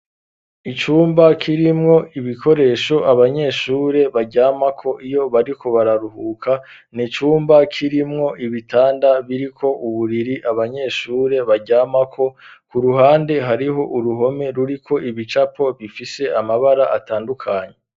Icumba kirimwo ibikoresho abanyeshure baryamako, iyo bariko bararuhuka, ni icumba kirimwo ibitanda, biriko uburiri abanyeshure baryamako; ku ruhande hariho uruhome, ruriko ibicapo bifise amabara atandukanye.